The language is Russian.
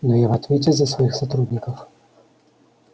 но я в ответе за своих сотрудников